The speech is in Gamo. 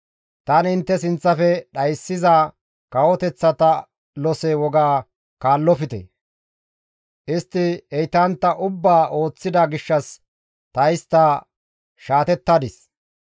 Tani intte sinththafe dhayssiza kawoteththata lose woga kaallofte; istti heytantta ubbaa ooththida gishshas ta istta shaatettadis.